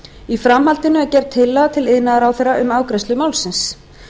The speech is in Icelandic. í framhaldinu er gerð tillaga til iðnaðarráðherra um afgreiðslu málsins